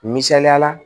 Misaliyala